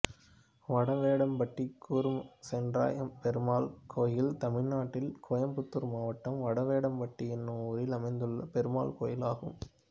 வடவேடம்பட்டி கூர்மசென்றாயப்பெருமாள் கோயில் தமிழ்நாட்டில் கோயம்புத்தூர் மாவட்டம் வடவேடம்பட்டி என்னும் ஊரில் அமைந்துள்ள பெருமாள் கோயிலாகும்